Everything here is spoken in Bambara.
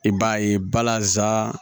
I b'a ye balazan